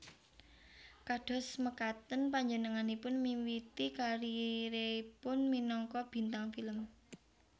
Kados mekaten panjenenganipun miwiti kariéripun minangka bintang film